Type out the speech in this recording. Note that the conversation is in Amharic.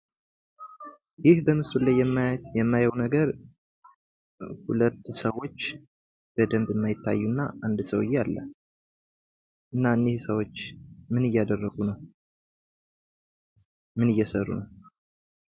ይህ በምስሉ ላይ የማየው ነገር ሁለት ሰዎች በደንብ የማይታዩ እና አንድ ሰዉዬ አለ ::እና እነዚህ ሰዎች ምን እያደረጉ ነው? ምን እየሰሩ ነው?